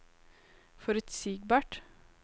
forutsigbart